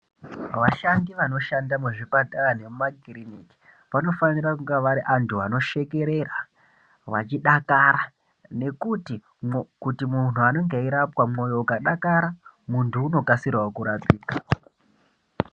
Vashandi vanoshanda muzvipatara nemumakiriniki vanofanira kunge varianhu anoshekerera vachidakara nekuti munhu anenge achirapiwa moyo ukadakara muntu unokasikawo kurapika